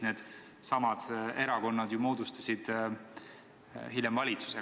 Needsamad erakonnad ju moodustasid hiljem valitsuse.